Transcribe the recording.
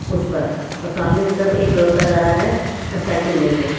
उस पर और सामने की तरफ एक लड़का जा रहा है साइकिल लेके।